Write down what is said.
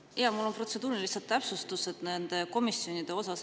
Ma soovin lihtsalt protseduurilist täpsustust komisjonide kohta.